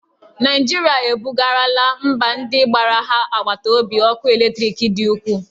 Naijirịa e bugarala mba ndị gbara ha agbata obi ọkụ eletriki dị ukwuu